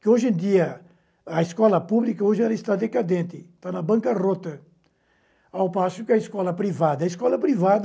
Que hoje em dia, a escola pública hoje ela está decadente, está na banca rota, ao passo que a escola privada, a escola privada